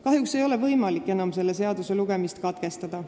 Kahjuks ei ole võimalik enam selle eelnõu lugemist katkestada.